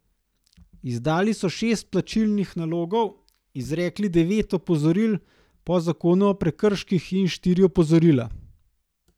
Izdali so šest plačilnih nalogov, izrekli devet opozoril po zakonu o prekrških in štiri opozorila.